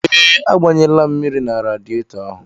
Ee, agbanyela m mmiri na radietọ ahụ.